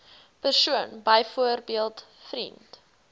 persoon byvoorbeeld vriend